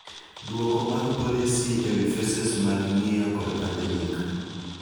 Duoko mag policy ewii phases mag ng'iyo kod pandemic.